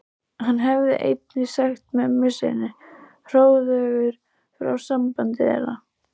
Hann hafði einnig sagt mömmu sinni hróðugur frá sambandi þeirra